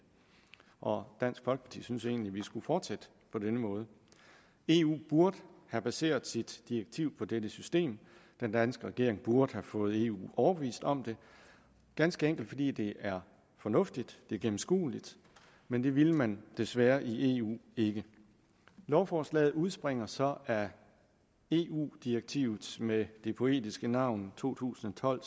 og dansk folkeparti synes egentlig at vi skulle fortsætte på denne måde eu burde have baseret sit direktiv på dette system den danske regering burde have fået eu overbevist om det ganske enkelt fordi det er fornuftigt det er gennemskueligt men det ville man desværre i eu ikke lovforslaget udspringer så af eu direktivet med det poetiske navn to tusind og tolv